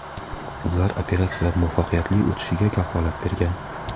Ular operatsiya muvaffaqiyatli o‘tishiga kafolat bergan.